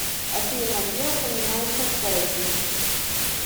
афина где упоминается цезий